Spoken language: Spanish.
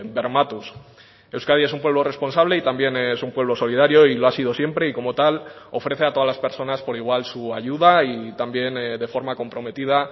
bermatuz euskadi es un pueblo responsable y también es un pueblo solidario y lo ha sido siempre y como tal ofrece a todas las personas por igual su ayuda y también de forma comprometida